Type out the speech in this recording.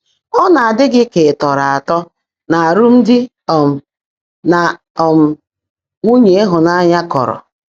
Ọ̀ ná-ádị́ gị́ kà ị́ tọ́ọ́ró átọ́ n’ámụ́mdị́ um nà um nwúnyé ị́hụ́nányá kọ́ọ́ró?